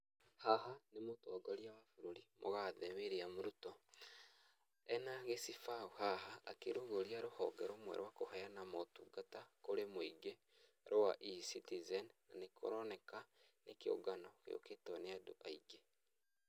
Haha nĩ mũtongoria wa bũrũri, mũgathe William Ruto, ena gĩcibao haha akĩrũgũria rũhonge rũmwe rwa kũheana maũtungata kũrĩ mũingĩ, rwa e-Citizen ,na nĩ kũroneka nĩ kĩũngano gĩũkĩtwo nĩ andũ aingĩ.